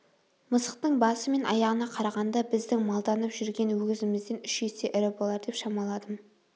мысықтың басы мен аяғына қарағанда біздің малданып жүрген өгізімізден үш есе ірі болар деп шамаладым